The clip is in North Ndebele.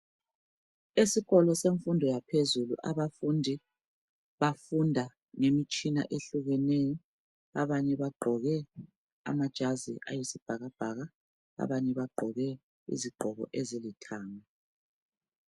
Esikolo semfundo yaphezulu abafundi bafunda ngemitshina ehlukeneyo abanye bagqoke amajazi ayisibhakabhaka abanye bagqoke izigqoko ezilithanga.